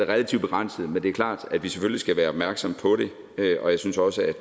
relativt begrænset men det er klart at vi selvfølgelig skal være opmærksomme på det og jeg synes også